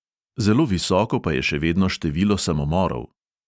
Zelo visoko pa je še vedno število samomorov.